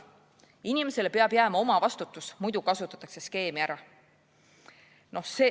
inimesele peab jääma omavastutus, sest muidu kasutatakse skeemi ära.